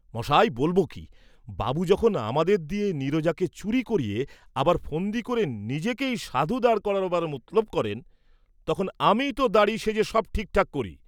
মশায় বলব কি, বাবু যখন আমাদের দিয়ে নীরজাকে চুরী করিয়ে আবার ফন্দি ক’রে নিজেকেই সাধু দাঁড় করাবার মতলব করেন তখন আমিই ত দাঁড়ি সেজে সব ঠিকঠাক করি।